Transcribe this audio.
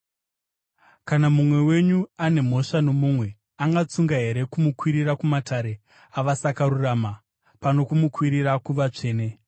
Kana mumwe wenyu ane mhosva nomumwe, angatsunga here kumukwirira kumatare avasakarurama pano kumukwirira kuvatsvene?